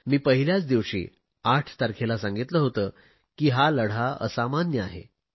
मी पहिल्याच दिवशी 8 तारखेला सांगितले होते की हा लढा असामान्य आहे